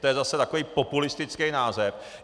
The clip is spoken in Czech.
To je zase takový populistický název.